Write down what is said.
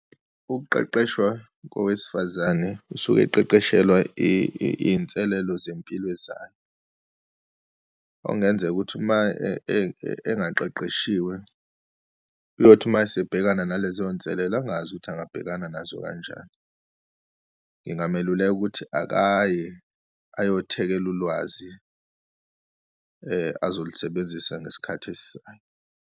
Ukuqeqeshwa kowesifazane usuke eqeqeshelwa iyinselelo zempilo ezayo, okungenzeka ukuthi uma engaqeqeshiwe uyothi uma esibhekana nalezo nselela angazi ukuthi angabhekana nazo kanjani. Ngingameluleka ukuthi akaye ayothekela ulwazi azolisebenzisa ngesikhathi .